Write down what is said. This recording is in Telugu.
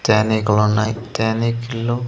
టానిక్ లు ఉన్నాయి టానిక్ లు.